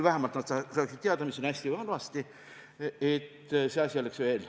Vähemalt saaksid rahvasaadikud teada, mis on hästi ja mis halvasti.